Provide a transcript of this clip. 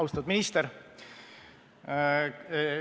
Austatud minister!